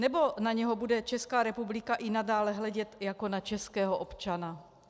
Nebo na něho bude Česká republika i nadále hledět jako na českého občana?